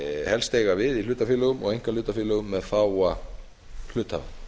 helst eiga við í hlutafélögum og einkahlutafélögum með fáa hluthafa